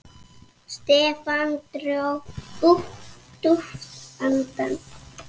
Stefán dró djúpt andann.